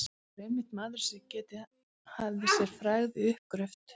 Það var einmitt maðurinn, sem getið hafði sér frægð við uppgröft